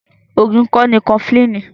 Oògùn ikọ́ ni Kọfilínì